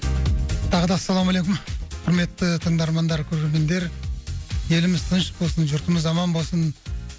тағы да ассалаумалейкум құрметті тыңдармандар көрермендер еліміз тыныш болсын жұртымыз аман болсын